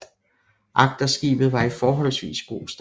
Agterskibet var i forholdsvis god stand